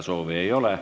Kõnesoove ei ole.